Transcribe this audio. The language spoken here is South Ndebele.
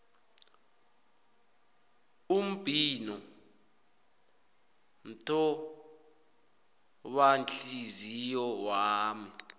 umbhino mthobanhliziyo wami